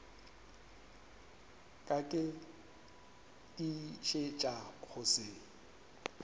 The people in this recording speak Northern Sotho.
ka ke tiišetša go se